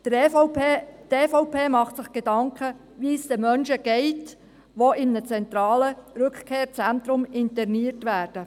Die EVP macht sich Gedanken, wie es den Menschen geht, die in einem zentralen Rückkehrzentrum interniert werden.